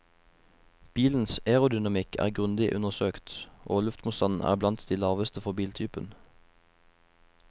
Bilens aerodynamikk er grundig undersøkt, og luftmotstanden er blant de laveste for biltypen.